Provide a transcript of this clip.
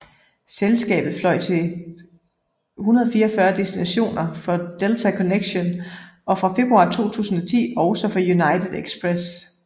Selskabet fløj til 144 destinationer for Delta Connection og fra februar 2010 også for United Express